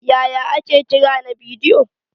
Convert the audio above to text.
Yaya ake kira na bidiyo?